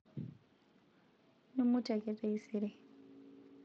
mimutie ake taisere